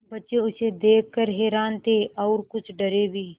बच्चे उसे देख कर हैरान थे और कुछ डरे भी